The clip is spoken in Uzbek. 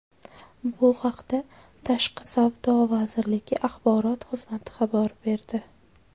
Bu haqda Tashqi savdo vazirligi axborot xizmati xabar berdi .